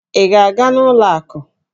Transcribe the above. Ị ga-aga n'ụlọ akụ?